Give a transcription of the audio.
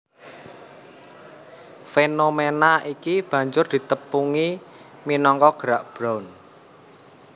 Fénoména iki banjur ditepungi minangka Gerak Brown